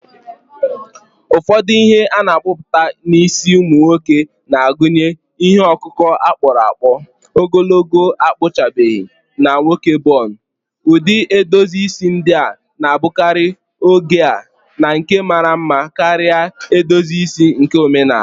Ụfọdụ ihe na-apụta n’isi ụmụ nwoke na-agụnye ihe ọkụkụ a kpụrụ akpụ, ogologo akpụchabeghị, na nwoke bun. Ụdị edozi isi ndị a na-abụkarị oge a na nke mara mma karịa edozi isi nke omenala.